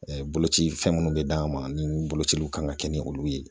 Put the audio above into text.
boloci fɛn minnu bɛ d'an ma ni bolociliw kan ka kɛ ni olu ye.